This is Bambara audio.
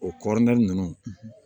O kɔrɔri nunnu